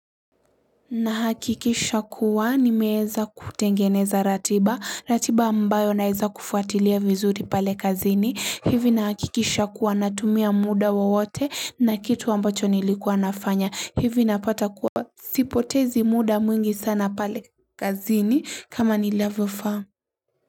Na hakikisha kuwa nimeweza kutengeneza ratiba ratiba ambayo naweza kufuatilia vizuri pale kazini hivi nahakikisha kuwa natumia muda wowote na kitu ambacho nilikuwa nafanya hivi napata kuwa sipotezi muda mwingi sana pale kazini kama ni level farm.